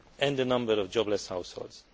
and the number of jobless households.